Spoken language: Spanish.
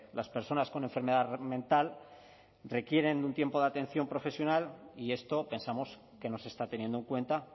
las personas con enfermedad mental requieren de un tiempo de atención profesional y esto pensamos que no se está teniendo en cuenta